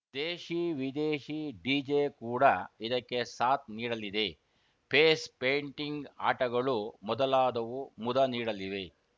ದೇಶಿ ವಿದೇಶಿ ಡಿಜೆ ಕೂಡ ಇದಕ್ಕೆ ಸಾಥ್‌ ನೀಡಲಿದೆ ಫೇಸ್‌ ಪೇಂಟಿಂಗ್‌ ಆಟಗಳು ಮೊದಲಾದವು ಮುದನೀಡಲಿವೆ